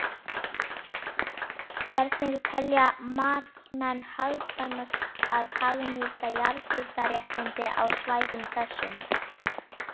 Hvernig telja matsmenn hagkvæmast að hagnýta jarðhitaréttindi á svæðum þessum?